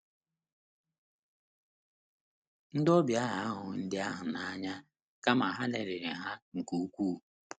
Ndị obịa ahụ ahụghị ndị ahụ n’anya kama ha lelịrị ha nke ukwuu.